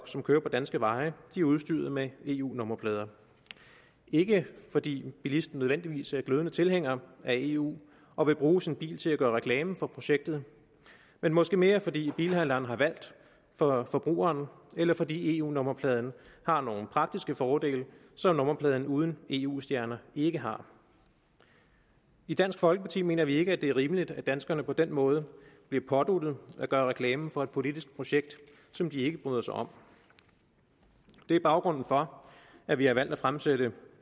som kører på danske veje er udstyret med eu nummerplader ikke fordi bilisten nødvendigvis er glødende tilhænger af eu og vil bruge sin bil til at gøre reklame for projektet men måske mere fordi bilforhandleren har valgt for forbrugeren eller fordi eu nummerpladen har nogle praktiske fordele som nummerpladen uden eu stjerner ikke har i dansk folkeparti mener vi ikke at det er rimeligt at danskerne på den måde bliver påduttet at gøre reklame for et politisk projekt som de ikke bryder sig om det er baggrunden for at vi har valgt at fremsætte